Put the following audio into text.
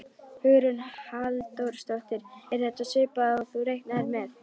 Hugrún Halldórsdóttir: Er þetta svipað og þú reiknaðir með?